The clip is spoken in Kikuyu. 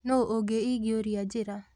Nũ ũngĩ ingĩũria njira?